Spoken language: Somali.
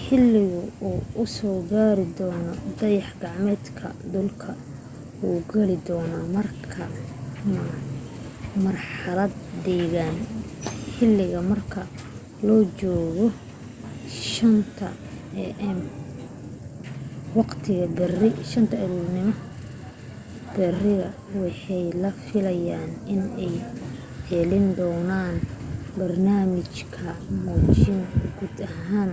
xiliga uu soo gaari doona dayax gacmeedka dhulka wuxuu geli doona marxalad degan xiliga marka la joogo 5am waqtiga bariga waxaa la filaya in la gelin doona barnaamij muujin guud ahaan